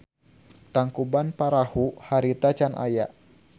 Tangkuban Parahu harita can aya.